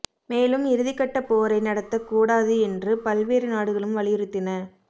மேலும் இறுதிக்கட்ட போரை நடத்தக் கூடாது என்று பல்வேறு நாடுகளும் வலியுறுத்தின